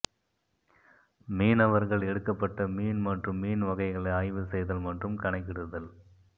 மீனவர்கள் எடுக்கப்பட்ட மீன் மற்றும் மீன் வகைகளை ஆய்வு செய்தல் மற்றும் கணக்கிடுதல்